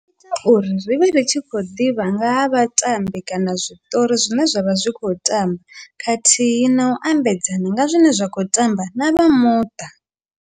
Uri ri vhe ri tshi khou ḓivha nga ha vhatambi kana zwiṱori zwine zwavha zwi kho tamba khathihi na u ambedzana nga zwine zwa khou tamba na vha muṱa.